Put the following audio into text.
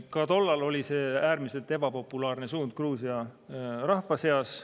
Ka tol ajal oli see äärmiselt ebapopulaarne suund Gruusia rahva seas.